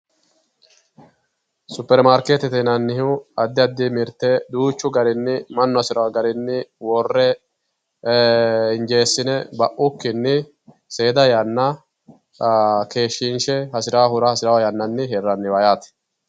Superimaarketete yinnannihu addi addi mirte duuchu garinni mannu hasirano garinni worre injesine baukkinni seeda yanna keeshinshe hasiranohura hasirano yannanni hiranniha yaati.